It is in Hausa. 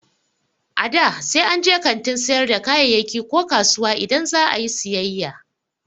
A da, sai an je kantin sayar da kayayyaki ko kasuwa idan za a yi siyayya